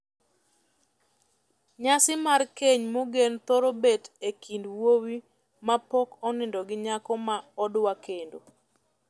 Nyasi mar keny mogen thoro bet e kind wuoyi mapok onindo gi nyako ma odwa kendo.